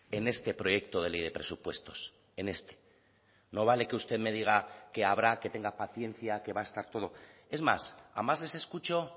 en este proyecto de ley de presupuestos en este no vale que usted me diga que habrá que tenga paciencia que va a estar todo es más a más les escucho